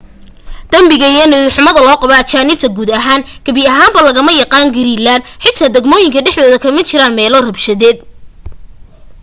dembiga iyo niyad-xumi loo qabo ajaanibta guud ahaan gebi ahaanba lagama yaqaan greenland xitaa degmooyinka dhexdooda kama jiraan meelo rabshadeed